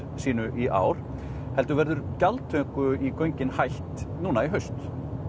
sínu í ár heldur verður gjaldtöku í göngin hætt í haust